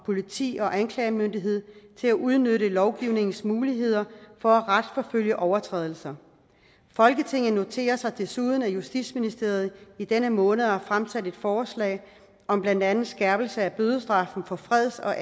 politi og anklagemyndighed til at udnytte lovgivningens muligheder for at retsforfølge overtrædelser folketinget noterer sig desuden at justitsministeriet i denne måned har fremsat et forslag om blandt andet skærpelse af bødestraffen for freds og